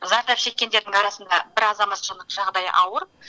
зардап шеккендердің арасында бір азаматшының жағдайы ауыр